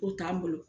O t'an bolo